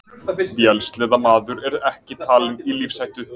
Vélsleðamaður ekki talinn í lífshættu